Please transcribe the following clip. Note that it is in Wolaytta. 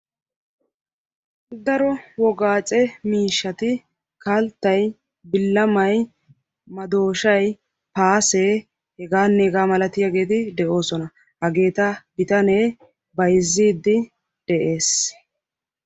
Daro wogaacce miishshati kalttay, billamay, maddooshshay, paasee hegaanne hegaa malatiyageeti de'oosona. hageeta bitanee bayziidi dees.